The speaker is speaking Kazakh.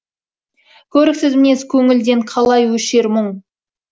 көріксіз мінез көңілден қалай өшер мұң